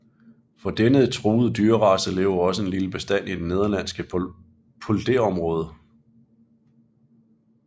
Fra denne truede dyrrace lever også en lille bestand i det nederlandske polderområde